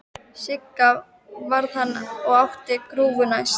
Sigga varð hann og átti að grúfa næst.